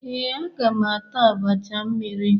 Ee, agam ata abacha mmiri.